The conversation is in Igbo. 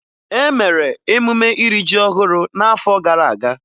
E mere emume iri ji ọhụrụ n'afọ gara aga.